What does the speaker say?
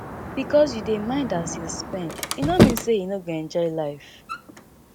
bikos yu dey mind as you spend e no mean say yu no go enjoy life